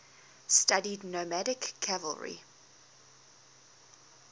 studied nomadic cavalry